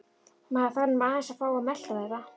Maður þarf nú aðeins að fá að melta þetta.